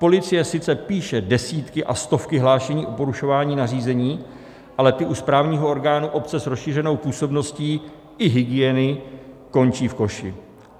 Policie sice píše desítky a stovky hlášení o porušování nařízení, ale ty u správního orgánu obce s rozšířenou působností i hygieny končí v koši.